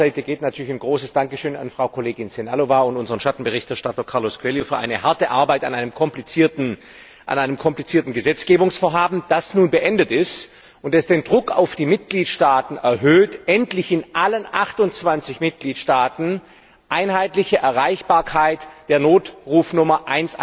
Auch von meiner Seite geht natürlich ein großes Dankeschön an Frau Kollegin Sehnalová und unseren Schattenberichterstatter Carlos Coelho für eine harte Arbeit an einem komplizierten Gesetzgebungsvorhaben, das nun beendet ist und das den Druck auf die Mitgliedstaaten erhöht, endlich in allen 28 Mitgliedstaaten die einheitliche Erreichbarkeit der Notrufnummer